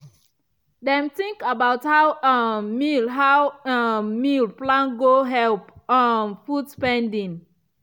dem think about how um meal how um meal plan go help reduce um food spending.